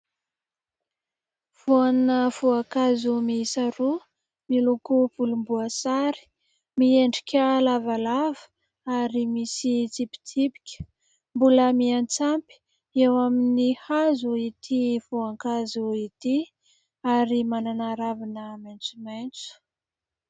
Voana voankazo miisa roa, miloko volomboasary, miendrika lavalava ary misy tsipitsipika ; mbola miantsampy eo amin'ny hazo ity voankazo ity ary manana ravina maitsomaitso.